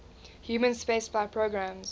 human spaceflight programmes